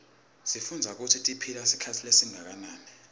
sifundza kutsi tiphila sikhatsi lesinganani